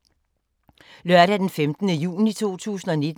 Lørdag d. 15. juni 2019